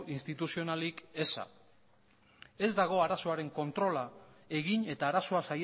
instituzionalik eza ez dago arazoaren kontrola egin eta arazoa